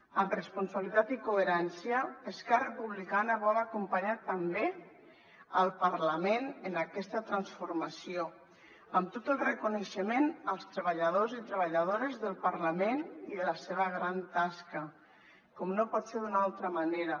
amb responsabilitat i coherència esquerra republicana vol acompanyar també el parlament en aquesta transformació amb tot el reconeixement als treballadors i treballadores del parlament i de la seva gran tasca com no pot ser d’una altra manera